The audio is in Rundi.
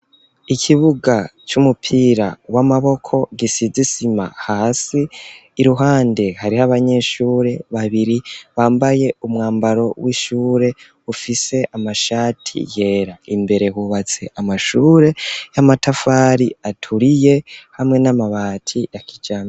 Ikibuga c'umupira w'amaboko gisize isima hasi iruhande hariho abanyeshure babiri bambaye umwambaro w'ishure ufise amashati yera imbere hubatse amashure y'amatafari aturiye hamwe n'amabati ya kijambere.